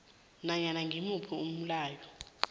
nanyana ngimuphi umlayo